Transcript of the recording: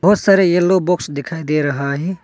बहुत सारी yellow box दिखाई दे रहा है।